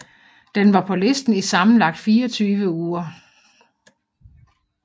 Den var på listen i sammenlagt 24 uger